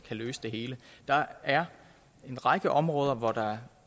kan løse det hele der er en række områder hvor der